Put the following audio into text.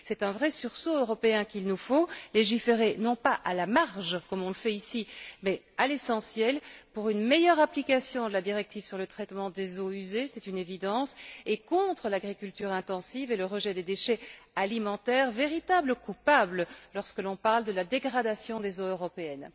C'est un vrai sursaut européen qu'il nous faut légiférer non pas à la marge, comme on le fait ici, mais à l'essentiel, pour une meilleure application de la directive sur le traitement des eaux usées c'est une évidence et contre l'agriculture intensive et le rejet des déchets alimentaires, véritables coupables lorsque l'on parle de la dégradation des eaux européennes.